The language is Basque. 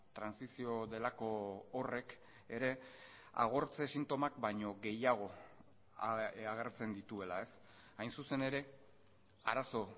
trantsizio delako horrek ere agortze sintomak baino gehiago agertzen dituela hain zuzen ere arazo